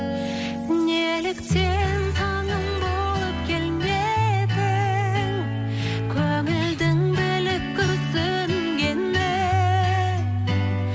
неліктен таңым болып келмедің көңілдің біліп күрсінгенін